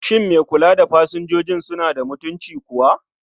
Shin mai kula da pasanjoji suna da mutunci kuwa?